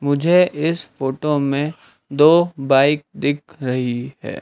मुझे इस फोटो मे दो बाइक दिख रही है।